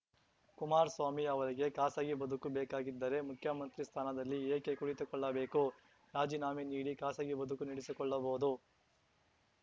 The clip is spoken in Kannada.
ಕುಮಾರ್ ಸ್ವಾಮಿ ಅವರಿಗೆ ಖಾಸಗಿ ಬದುಕು ಬೇಕಾಗಿದ್ದರೆ ಮುಖ್ಯಮಂತ್ರಿ ಸ್ಥಾನದಲ್ಲಿ ಏಕೆ ಕುಳಿತುಕೊಳ್ಳಬೇಕು ರಾಜೀನಾಮೆ ನೀಡಿ ಖಾಸಗಿ ಬದುಕು ನೆಡೆಸಿಕೊಳ್ಳಬಹುದು